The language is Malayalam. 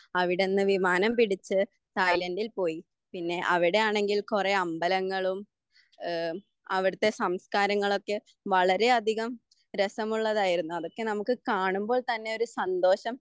അവിടുന്ന് വിമാനം പിടിച്ച് തായ്ലന്റിൽ പോയി. പിന്നെ അവിടെയാണെങ്കിൽ കുറേ അമ്പലങ്ങളും ഏഹ് അവിടുത്തെ സംസ്കാരങ്ങളൊക്കെ വളരെ അധികം രസമുള്ളതായിരുന്നു. അതൊക്കെ നമുക്ക് കാണാൻ അതൊക്കെ നമുക്ക് കാണുമ്പോൾ തന്നെ ഒരു സന്തോഷം,